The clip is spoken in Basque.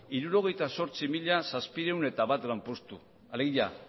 hirurogeita zortzi mila zazpiehun eta bat lanpostu alegia